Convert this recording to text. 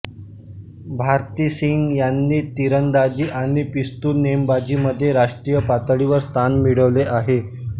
भारती सिंह यांनी तिरंदाजी आणि पिस्तूल नेमबाजीमध्येही राष्ट्रीय पातळीवर स्थान मिळवले आहे